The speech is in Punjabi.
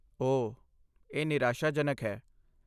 ਓਹ, ਇਹ ਨਿਰਾਸ਼ਾਜਨਕ ਹੈ।